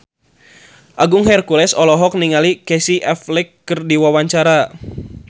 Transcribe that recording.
Agung Hercules olohok ningali Casey Affleck keur diwawancara